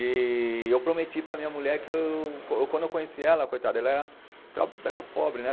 E eu prometi para minha mulher que eu, co quando eu conheci ela, coitada, ela era tra, era pobre, né?